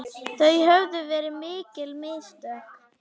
Það höfðu verið mikil mistök.